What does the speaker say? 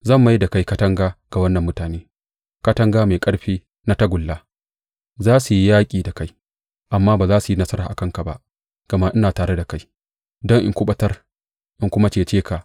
Zan mai da kai katanga ga wannan mutane, katanga mai ƙarfi na tagulla; za su yi yaƙi da kai amma ba za su yi nasara a kanka ba, gama ina tare da kai don in kuɓutar in kuma cece ka,